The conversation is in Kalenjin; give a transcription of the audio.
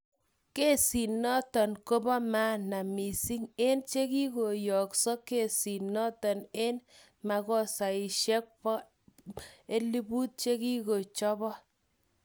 Kesinoton kopo maana mising en che kigoyookse kisitokoni ag magaosaishek 1000 chekichochope.